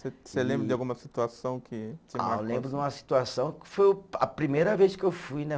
Você você lembra de alguma situação que. Ah, eu lembro de uma situação que foi o, a primeira vez que eu fui, né?